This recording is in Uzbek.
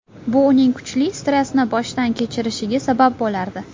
Bu uning kuchli stressni boshdan kechirishga sabab bo‘lardi.